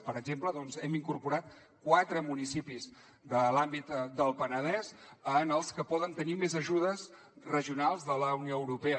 per exemple doncs hem incorporat quatre municipis de l’àmbit del penedès en els que poden tenir més ajudes regionals de la unió europea